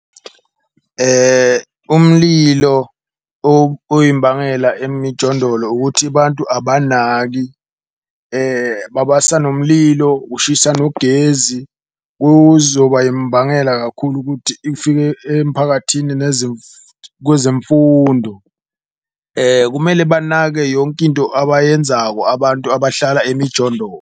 Umlilo oyimbangela emijondolo ukuthi bantu banaki babasa nomlilo, ushisa nogezi kuzoba yimbangela kakhulu ukuthi ifike emiphakathini kwezemfundo. Kumele banake yonke into abayenzako abantu abahlala emijondolo.